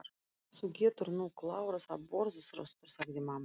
Þú getur nú klárað að borða, Þröstur, sagði mamma.